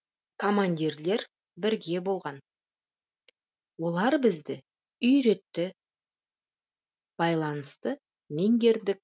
командирлер бірге болған олар бізді үйретті байланысты меңгердік